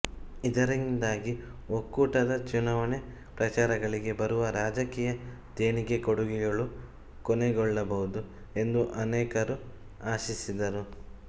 ಇದರಿಂದಾಗಿ ಒಕ್ಕೂಟದ ಚುನಾವಣೆ ಪ್ರಚಾರಗಳಿಗೆ ಬರುವ ರಾಜಕೀಯ ದೇಣಿಗೆ ಕೊಡುಗೆಗಳು ಕೊನೆಗೊಳ್ಳಬಹುದು ಎಂದು ಅನೇಕರು ಆಶಿಸಿದರು